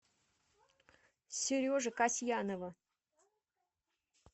сережи касьянова